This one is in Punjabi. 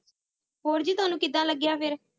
ਹੋਰ ਜੀ ਤੁਹਾਨੂੰ ਕਿੱਦਾਂ ਲੱਗਿਆ ਫਿਰ?